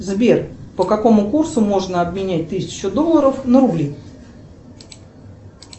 сбер по какому курсу можно обменять тысячу долларов на рубли